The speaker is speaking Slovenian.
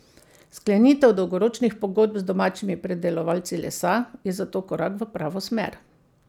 Sklenitev dolgoročnih pogodb z domačimi predelovalci lesa je zato korak v pravo smer.